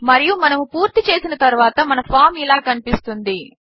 మరియు మనము పూర్తి చేసిన తరువాత మన ఫామ్ ఇలా కనిపిస్తుంది